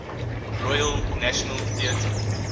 royal national theatre